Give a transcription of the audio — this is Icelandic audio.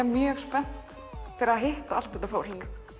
mjög spennt fyrir að hitta allt þetta fólk